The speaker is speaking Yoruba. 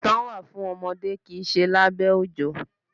Ìtàn wà fún ọmọdé kìí ṣe lábẹ́ òjò.